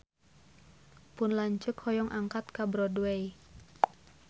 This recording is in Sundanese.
Pun lanceuk hoyong angkat ka Broadway